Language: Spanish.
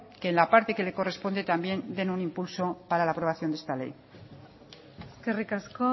que en la parte que le corresponde también den un impulso para la aprobación de esta ley eskerrik asko